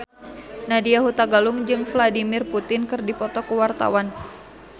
Nadya Hutagalung jeung Vladimir Putin keur dipoto ku wartawan